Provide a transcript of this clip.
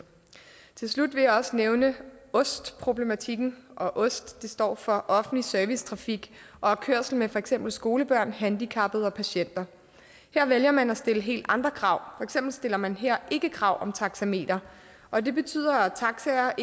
til slut vil jeg også nævne ost problematikken ost står for offentlig servicetrafik og er kørsel med for eksempel skolebørn handicappede og patienter her vælger man at stille helt andre krav for eksempel stiller man her ikke krav om taxameter og det betyder at taxaer har